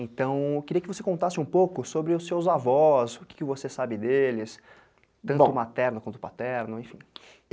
Então, eu queria que você contasse um pouco sobre os seus avós, o que você sabe deles, tanto o materno quanto o paterno, enfim.